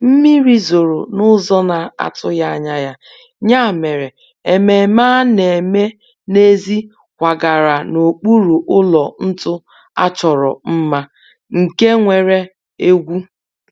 mmiri zoro n'ụzọ na-atughi anya ya, ya mere ememe a na-eme n'èzí kwagara n'okpuru ụlọ ntu a chọrọ mma, nke nwere egwu